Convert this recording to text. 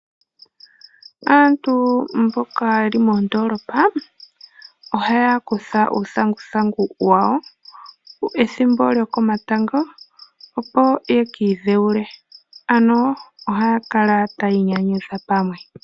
Aantu mboka yeli mondolopa, ohaya kutha uuthanguthangu wawo ethimbo lyokomatango opo yekiidhewule ano ohayakala taya inyanyudha pamwe.